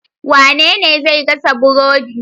Wanene zai gasa burodi